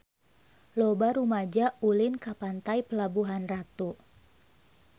Loba rumaja ulin ka Pantai Pelabuhan Ratu